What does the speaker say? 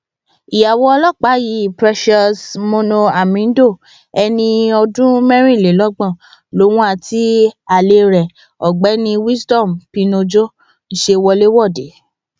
ìyàwó ọlọpàá yìí precious moono hamindo ẹni ọdún mẹrìnlélọgbọn lòun àti alẹ rẹ ọgbẹni wisdom pino jọ ń ṣe wọléwọde